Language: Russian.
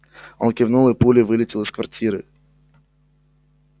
он кивнул и пулей вылетел из квартиры